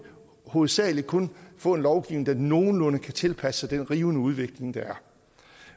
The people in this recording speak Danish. hovedsagelig kun få en lovgivning der nogenlunde kan tilpasse sig den rivende udvikling der er